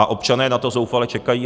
A občané na to zoufale čekají.